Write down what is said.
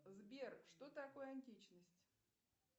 сбер что такое античность